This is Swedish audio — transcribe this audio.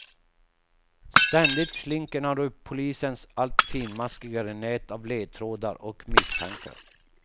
Ständigt slinker han ur polisens allt finmaskigare nät av ledtrådar och misstankar.